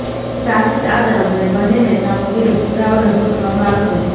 સાથે જ આ દરમિયાન બંને નેતાઓ વિરુદ્ધ પુરાવા રજુ કરવામાં આવશે